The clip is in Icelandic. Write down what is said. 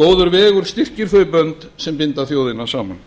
góður vegur styrkir þau bönd sem binda þjóðina saman